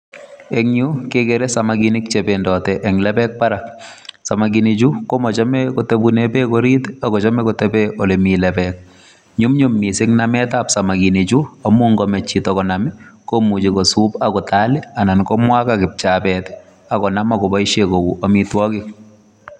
Eng Yuu kegere samakinik che bendatii en lebeek Barak samakinik chuu komachei kotebeen beek oriit ii ak kochame kotebeen ole Mii lebeek nyumnyum missing nameet ab samakinik chuu amuun yaan machei chitoo konam ii komuchei kisuup ak kotal ii anan konam ak kipchabeet ak koyaal ak koboisien kouu amitwagiik.